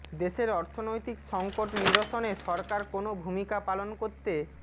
দেশের অর্থনৈতিক সংকট নিরসনে সরকার কোনও ভূমিকা পালন করতে